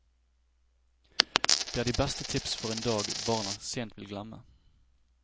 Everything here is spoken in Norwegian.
Det er de beste tips for en dag barna sent vil glemme.